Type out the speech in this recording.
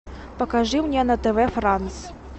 покажи мне на тв франс